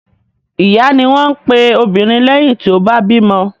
Ìyá ni wọ́n máa ń pe obìnrin lẹ́yìn tí ó bá bímọ.